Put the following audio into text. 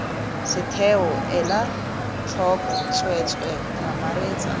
setheo ela tlhoko tsweetswee mamaretsa